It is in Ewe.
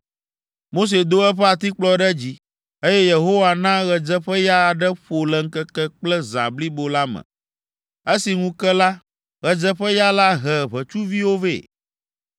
Mose do eƒe atikplɔ ɖe dzi, eye Yehowa na ɣedzeƒeya aɖe ƒo le ŋkeke kple zã blibo la me. Esi ŋu ke la, ɣedzeƒeya la he ʋetsuviwo vɛ.